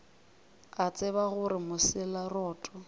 a tseba gore mosela roto